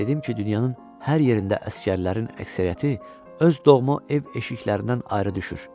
Dedim ki, dünyanın hər yerində əsgərlərin əksəriyyəti öz doğma ev eşiklərindən ayrı düşür.